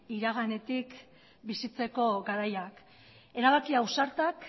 iraganetik bizitzeko garaia erabaki ausartak